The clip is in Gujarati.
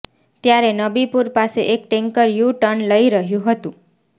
ત્યારે નબીપુર પાસે એક ટેન્કર યુ ટર્ન લઇ રહ્યું હતું